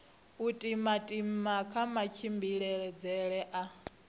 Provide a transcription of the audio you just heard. u timatima kha matshimbidzele a